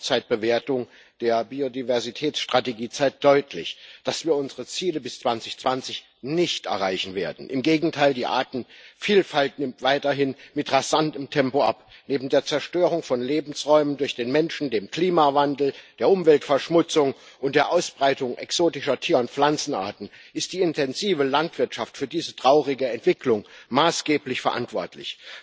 Die Halbzeitbewertung der Biodiversitätsstrategie zeigt deutlich, dass wir unsere Ziele bis 2020 nicht erreichen werden. Im Gegenteil Die Artenvielfalt nimmt weiterhin mit rasantem Tempo ab. Neben der Zerstörung von Lebensräumen durch den Menschen, dem Klimawandel, der Umweltverschmutzung und der Ausbreitung exotischer Tier und Pflanzenarten ist die intensive Landwirtschaft für diese traurige Entwicklung maßgeblich verantwortlich.